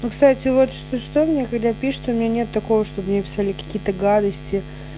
ну кстати вот что что мне когда пишет у меня нет такого чтобы мне писали какие-то гадости